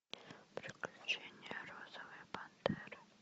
приключения розовой пантеры